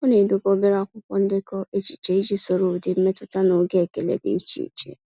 Ọ na-edobe obere akwụkwọ ndekọ echiche iji soro ụdị mmetụta na oge ekele dị iche iche.